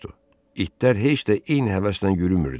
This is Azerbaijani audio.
İtlər heç də eyni həvəslə yürümürdü.